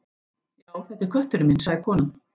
Já, þetta er kötturinn minn sagði konan.